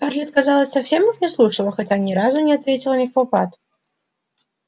скарлетт казалось совсем их не слушала хотя ни разу не ответила невпопад